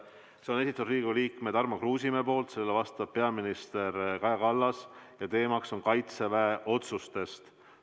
Selle on esitanud Riigikogu liige Tarmo Kruusimäe, talle vastab peaminister Kaja Kallas ja teemaks on Kaitseväe otsused.